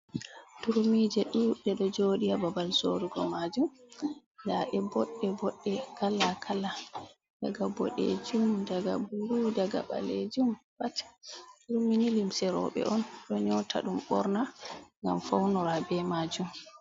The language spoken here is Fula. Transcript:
Turmije ɗuɗde ɗo joɗi ha babal sorugo majum, nda ɗe boɗɗe boɗɗe kala kala, daga boɗejum, daga bulu, daga ɓalejum pat, turmini limse roɓe on ɗo nyota ɗum ɓorna ngam faunora be majum.